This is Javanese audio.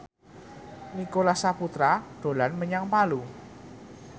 Nicholas Saputra dolan menyang Palu